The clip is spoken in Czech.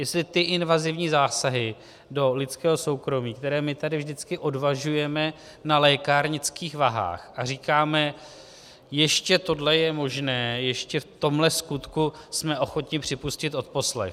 Jestli ty invazivní zásahy do lidského soukromí, které my tady vždycky odvažujeme na lékárnických vahách, a říkáme, ještě tohle je možné, ještě v tomhle skutku jsme ochotni připustit odposlech.